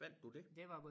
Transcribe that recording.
Fandt du det?